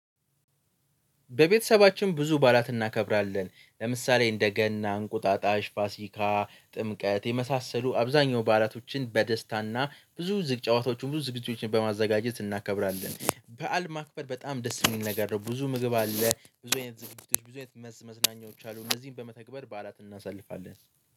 በቤተሰባችን ብዙ ባላት እናከብራለን ለምሳሌ እንደ ገና፤ እንቁጣጣሽ፤ ፋሲካ፤ ጥምቀት፤ የመሳሰሉ አብዛኛው ባላቶችን በደስታና ብዙ ጨዋታዎችን ብዙ ዝግጅቶችን በማዘጋጀት እናከብራለን። በዓል ማክበር በጣም ደስ የሚል ነገር ነው ብዙ ምግብ አለ ብዙ አይነት ዝግጅቶች ብዙ አይነት መዝናኛዎች አሉ እነዚህን በመተግበር በዓላት እናሳልፋለን